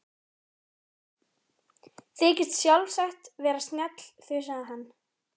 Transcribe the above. Þykist sjálfsagt vera snjall, þusaði hann.